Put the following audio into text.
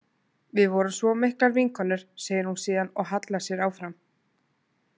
Við vorum svo miklar vinkonur, segir hún síðan og hallar sér áfram.